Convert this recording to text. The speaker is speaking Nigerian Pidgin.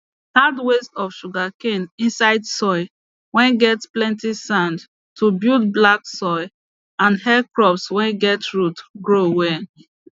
add waste of sugarcane inside soil whey get plenty sand to build black soil and help crops whey get root grow well